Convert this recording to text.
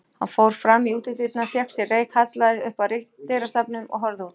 Hann fór fram í útidyrnar, fékk sér reyk, hallaðist upp að dyrastafnum og horfði út.